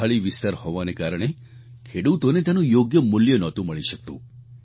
પહાડી વિસ્તાર હોવાને કારણ ખેડૂતોને તેનું યોગ્ય મૂલ્ય નહોતું મળી શકતું